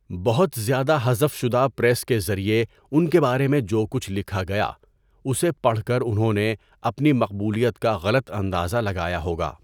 بہت زیادہ حذف شدہ پریس کے ذریعے ان کے بارے میں جو کچھ لکھا گیا اسے پڑھ کر انہوں نے اپنی مقبولیت کا غلط اندازہ لگایا ہوگا۔